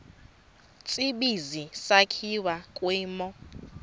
tsibizi sakhiwa kwimo